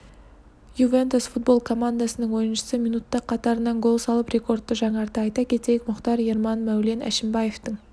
юнентус футбол командасының ойыншысы минутта қатарынан гол салып рекордты жаңартты айта кетейік мұхтар ерман мәулен әшімбаевтың